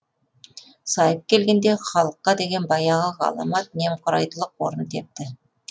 сайып келгенде халыққа деген баяғы ғаламат немқұрайдылық орын тепті